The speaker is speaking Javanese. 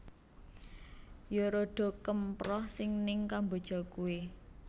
Yo rodo kemproh si ning Kamboja kui